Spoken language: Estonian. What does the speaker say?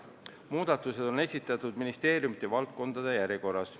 Muudatused on esitatud ministeeriumide valdkondade järjekorras.